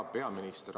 Hea peaminister!